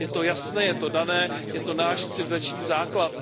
Je to jasné, je to dané, je to náš civilizační základ.